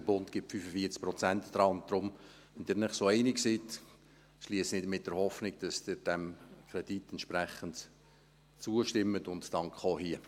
Der Bund gibt 45 Prozent daran, und daher, wenn Sie sich so einig sind, schliesse ich mit der Hoffnung, dass Sie diesem Kredit entsprechend zustimmen, und danke auch hier.